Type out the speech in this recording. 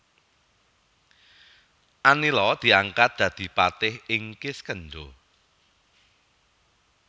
Anila diangkat dadi patih ing Kiskendha